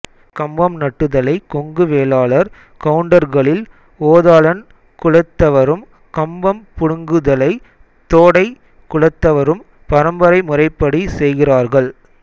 கம்பம் நட்டுதலை கொங்கு வேளாளர் கவுண்டர்களில் ஓதாளன் குலத்தவரும் கம்பம் புடுங்குதலை தோடை குலத்தவரும் பரம்பரை முறைப்படி செய்கிறார்கள்